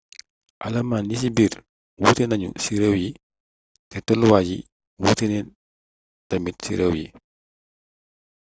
alamaan yi ci biir wuuté nañu ci réew yi té tollu waay yi wuuténa tamit ci réew yi